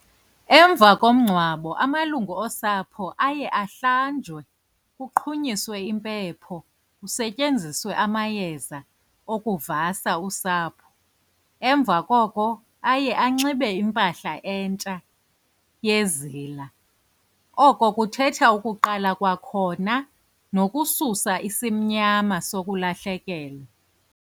Emva komngcwabo amalungu osapho aye ahlanjwe kuqhunyiswe impepho kusetyenziswe amayeza okuvasa usapho. Emva koko aye anxibe impahla entsha yezila. Oko kuthetha ukuqala kwakhona nokususa isimnyama sokulahlekelwa.